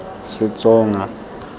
setsonga